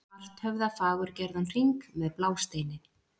Svarthöfða fagurgerðan hring með blásteini.